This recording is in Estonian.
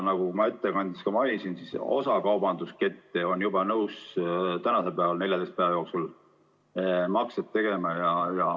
Nagu ma ettekandes mainisin, osa kaubanduskette on juba praegu nõus 14 päeva jooksul makseid tegema.